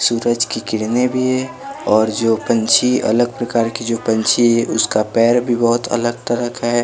सूरज की किरणें भी है और जो पंछी अलग प्रकार की जो पंछी है उसका पैर भी बहुत अलग तरह का है।